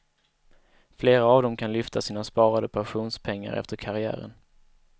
Flera av dem kan lyfta sina sparade pensionspengar efter karriären.